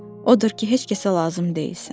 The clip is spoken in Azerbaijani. Odur ki, heç kəsə lazım deyilsən.